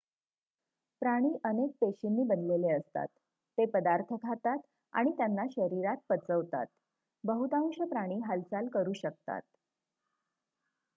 प्राणी अनेक पेशींनी बनलेले असतात ते पदार्थ खातात आणि त्यांना शरीरात पचवतात बहुतांश प्राणी हालचाल करू शकतात